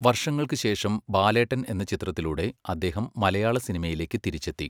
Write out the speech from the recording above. വർഷങ്ങൾക്ക് ശേഷം ബാലേട്ടൻ എന്ന ചിത്രത്തിലൂടെ അദ്ദേഹം മലയാള സിനിമയിലേക്ക് തിരിച്ചെത്തി.